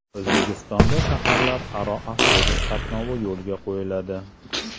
O‘zbekistonda shaharlararo avtobus qatnovi yo‘lga qo‘yiladi.